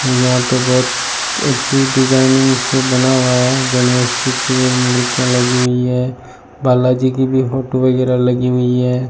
और यहां पे बहुत अच्छी डिजाइनिंग से बना हुआ है गणेश जी की मूर्तियां लगी हुई है बालाजी की भी फोटो वगैरह लगी हुई है।